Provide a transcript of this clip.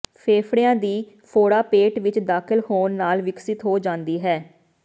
ਫੇਫੜਿਆਂ ਦੀ ਫੋੜਾ ਪੇਟ ਵਿਚ ਦਾਖਲ ਹੋਣ ਨਾਲ ਵਿਕਸਤ ਹੋ ਜਾਂਦੀ ਹੈ